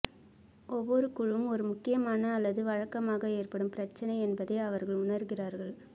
ஒவ்வொரு குழுவும் ஒரு முக்கியமான அல்லது வழக்கமாக ஏற்படும் பிரச்சனை என்பதை அவர்கள் உணருகிறார்கள்